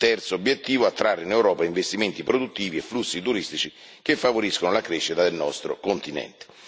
Terzo obiettivo attrarre in Europa investimenti produttivi e flussi turistici che favoriscano la crescita del nostro continente.